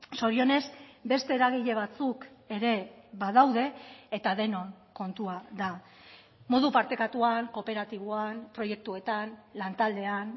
zorionez beste eragile batzuk ere badaude eta denon kontua da modu partekatuan kooperatiboan proiektuetan lan taldean